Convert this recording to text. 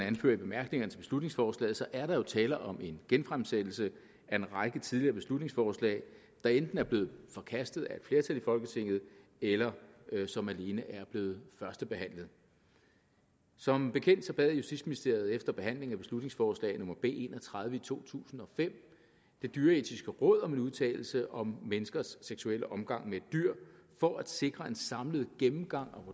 anfører i bemærkningerne til beslutningsforslaget er der jo tale om en genfremsættelse af en række tidligere beslutningsforslag der enten er blevet forkastet af et flertal i folketinget eller som alene er blevet førstebehandlet som bekendt bad justitsministeriet efter behandlingen af beslutningsforslag nummer b en og tredive i to tusind og fem det dyreetiske råd om en udtalelse om menneskers seksuelle omgang med dyr for at sikre en samlet gennemgang